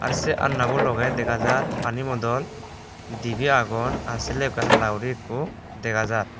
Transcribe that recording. are say alna bu loge dega jar pani bodol dibi agon are say loge ekku hala gori dega jar.